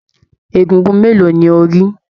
Egúngún mélòó ní o ri?